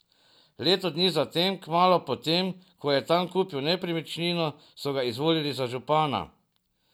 Leto dni zatem, kmalu potem, ko je tam kupil nepremičnino, so ga izvolili za župana.